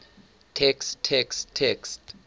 text text text